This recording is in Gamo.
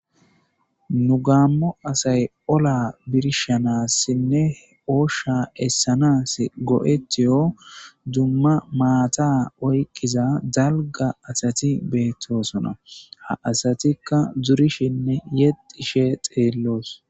Nu gammo asay olla birshshanasine oshsha esanasi go'etiyo dumma maata oykiza dalga asati bettosona ha asatikka zorishshenne yexishshe xelos